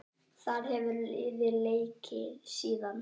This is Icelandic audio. Þar hefur liðið leikið síðan.